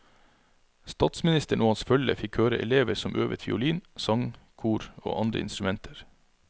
Statsministeren og hans følge fikk høre elever som øvet fiolin, sang, kor og andre instrumenter.